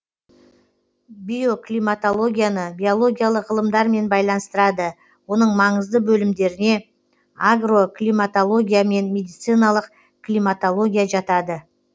биоклиматологияны биологиялық ғылымдармен байланыстырады оның маңызды бөлімдеріне агроклиматология мен медициналық климатология жатады